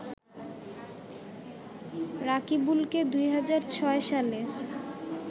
রাকিবুলকে ২০০৬ সালে